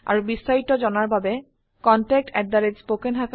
আৰু বিস্তাৰিত জনাৰ বাবে contactspoken tutorialorg ত যোগযোগ কৰক